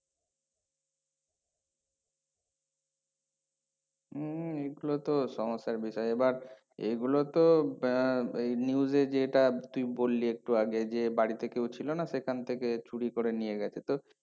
উম এগুলো তো সমস্যার বিষয় এবার এগুলো তো উম এই news এ যেটা তুই বললি একটু আগে যে বাড়িতে কেউ ছিল না সেখান থেকে চুরি করে নিয়ে গেছে তো